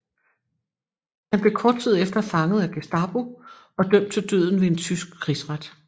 Han blev kort tid efter fanget af Gestapo og dømt til døden ved en tysk krigsret